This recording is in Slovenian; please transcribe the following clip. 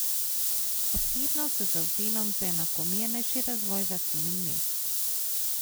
Osebno se zavzemam za enakomernejši razvoj vasi in mest.